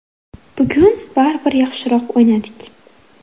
Bugun baribir yaxshiroq o‘ynadik.